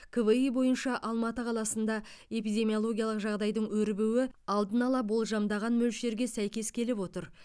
кви бойынша алматы қаласында эпидемиологиялық жағдайдың өрбуі алдын ала болжамдаған мөлшерге сәйкес келіп отыр